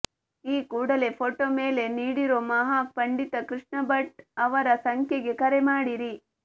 ಈ ಕೂಡಲೇ ಫೋಟೋ ಮೇಲೆ ನೀಡಿರೋ ಮಹಾ ಪಂಡಿತ ಕೃಷ್ಣ ಭಟ್ ಅವರ ಸಂಖ್ಯೆಗೆ ಕರೆ ಮಾಡಿರಿ